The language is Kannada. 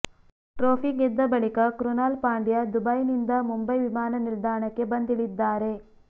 ಟ್ರೋಫಿ ಗೆದ್ದ ಬಳಿಕ ಕ್ರುನಾಲ್ ಪಾಂಡ್ಯ ದುಬೈನಿಂದ ಮುಂಬೈ ವಿಮಾನ ನಿಲ್ದಾಣಕ್ಕೆ ಬಂದಿಳಿದ್ದಾರೆ